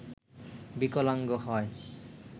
বিকলাঙ্গ হয়